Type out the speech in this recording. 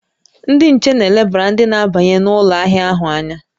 Ndị nche na-elebara ndị na-abanye n'ụlọ ahịa ahụ anya